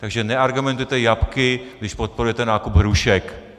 Takže neargumentujte jablky, když podporujete nákup hrušek.